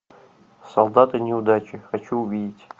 солдаты неудачи хочу увидеть